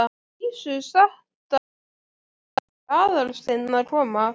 Dísu sagt að nú væri Aðalsteinn að koma.